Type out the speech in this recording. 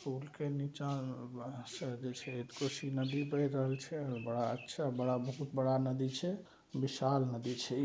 पूल के निचा में बा साइड से कोसी नदी बह रहल छे और बड़ा अच्छा बहुत बड़ा नदी छे विशाल नदी छे ई।